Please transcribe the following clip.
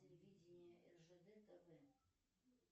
телевидение ржд тв